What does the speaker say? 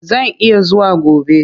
Zan iya zuwa gobe.